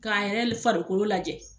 K'a yɛrɛ le farikolo lajɛ